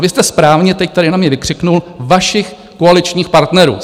A vy jste správně teď tady na mě vykřikl - vašich koaličních partnerů.